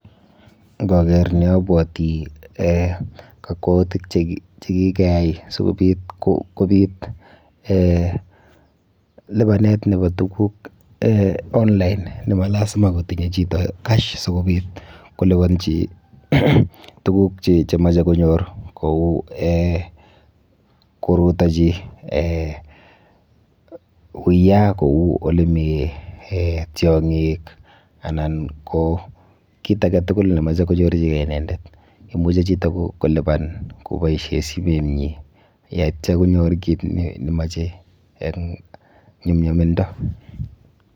Nkaker ni abwoti um kakwoutik chekikeyai sikobit kobit um lipanet nepo tuguk um online ne ma lazima kotinye chito cash sikobit koliponchi tuguk chemoche konyor kou[um] korutochi um uiya kou olemi um tiong'ik anan ko tit ake tuguk nemoche konyorchikei inendet. Imuchi chito kolipan koboishe simenyi yeityo konyor kit nemoche eng nyumnyumindo.